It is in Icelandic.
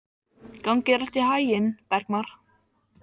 Gangi þér allt í haginn, Bergmar.